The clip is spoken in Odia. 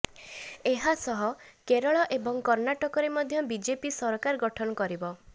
ଏହାସହ କେରଳ ଏବଂ କର୍ଣ୍ଣାଟକରେ ମଧ୍ୟ ବିଜେପି ସରକାର ଗଠନ କରିବ